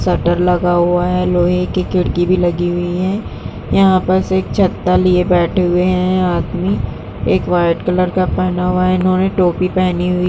सट्टर लगा हुआ है। लोहे की खिड़की भी लगी हुई है। यहां पर बस एक छत्ता लिए बैठे हुए हैं आदमी। एक व्हाइट कलर का पहना हुआ है इन्होंने। टोपी पहनी हुई --